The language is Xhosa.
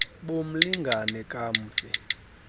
bo mlingane kamfi